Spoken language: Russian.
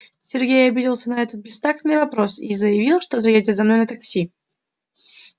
сергей обиделся на этот бестактный вопрос и заявил что заедет за мной на такси